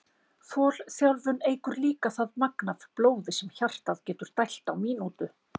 Þolþjálfun eykur líka það magn af blóði sem hjartað getur dælt á mínútu.